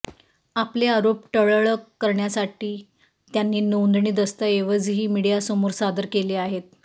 आपले आरोप ठळ्ळक करण्यासाठी त्यांनी नोंदणी दस्तऐवजही मीडियासमोर सादर केले आहेत